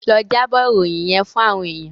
Lọ jábọ̀ ìròyìn yẹ́n fún àwọn èèyàn.